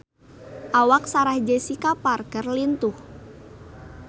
Awak Sarah Jessica Parker lintuh